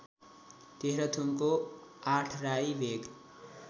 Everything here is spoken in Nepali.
तेह्रथुमको आठराई भेग